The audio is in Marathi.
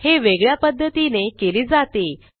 हे वेगळ्या पध्दतीने केले जाते